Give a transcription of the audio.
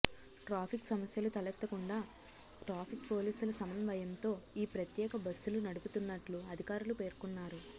traffic సమస్యలు తలెత్తకుండా traffic పోలీసుల సమన్వయంతో ఈ ప్రత్యేక బస్సులు నడుపుతున్నట్లు అధికారులు పేర్కొన్నారు